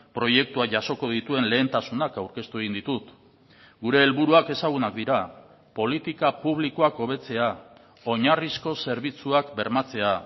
proiektua jasoko dituen lehentasunak aurkeztu egin ditut gure helburuak ezagunak dira politika publikoak hobetzea oinarrizko zerbitzuak bermatzea